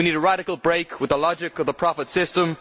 We need a radical break with the logic of the profit system.